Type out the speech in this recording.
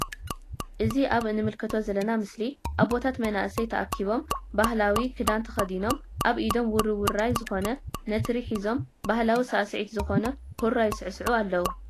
እዚ ኣብ እንምልከቶ ዘልና ምስሊ ኣቦታት መናሰይ ታኪቦም ባህላዊ ክዳን ተከዲኖም ኣብ ኢዶም ውርውራይ ዝኮነ ነትሪ ሒዞም ባህላዊ ሳዕስዒት ዝኮነ ሁራ ይስዕስዑ ኣለዉ።